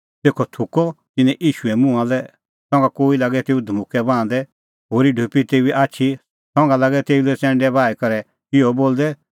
तेखअ थुकअ तिन्नैं ईशूए मुंहां लै संघा कोई लागै तेऊ लै धमुक्कै बाहंदै होरी ढोपी तेऊए आछी संघा लागै तेऊ लै च़ैंडै बाही करै इहअ बोलदै